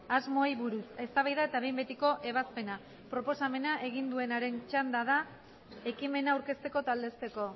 asmoei buruz eztabaida eta behin betiko ebazpena proposamena egin duenaren txanda da ekimena aurkezteko eta aldezteko